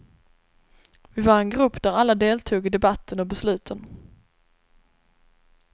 Vi var en grupp där alla deltog i debatten och besluten.